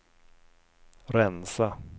rensa